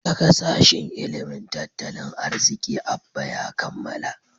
daga sashin ilimin tattalin arziki Abba ya kammala